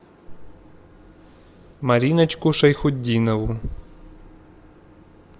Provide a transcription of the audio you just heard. мариночку шайхутдинову